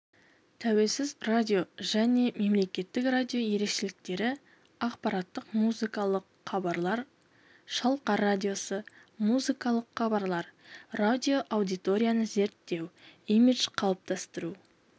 тәуелсіз радио және мемлекеттік радио ерекшеліктері ақпараттық-музыкалық хабарлар шалқар радиосы музыкалық хабарлар радиоаудиторияны зерттеу имидж қалыптастыру